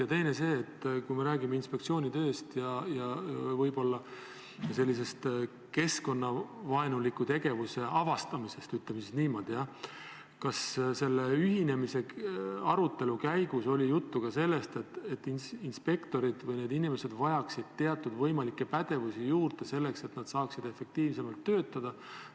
Ja teine aspekt on see, et kui me räägime inspektsiooni tööst ja keskkonnavaenuliku tegevuse avastamisest – ütleme niimoodi –, siis kas selle ühinemise arutelu käigus oli juttu ka sellest, et need inspektorid või muud töötajad vajaksid teatud pädevusi juurde, et nad saaksid efektiivsemalt töötada?